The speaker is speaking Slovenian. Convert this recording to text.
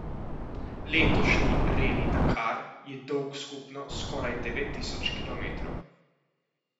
Letošnji Reli Dakar je dolg skupno skoraj devet tisoč kilometrov.